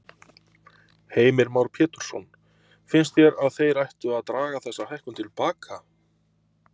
Heimir Már Pétursson: Finnst þér að þeir ættu að draga þessa hækkun til baka?